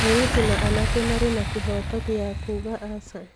Airĩtu na anake marĩ na kĩhooto gĩa kuuga aca.